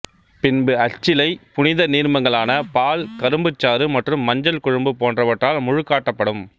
பின்பு அச்சிலை புனித நீர்மங்களான பால் கரும்புச் சாறு மற்றும் மஞ்சட் குழம்பு போன்றவற்றால் முழுக்காட்டப்படும்